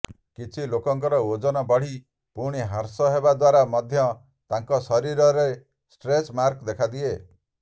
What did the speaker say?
କିଛି ଲୋକଙ୍କର ଓଜନ ବଢ଼ି ପୁଣି ହ୍ରାସ ହେବା ଦ୍ୱାରା ମଧ୍ୟ ତାଙ୍କ ଶରୀରରେ ଷ୍ଟ୍ରେଚ୍ ମାର୍କ ଦେଖାଦିଏ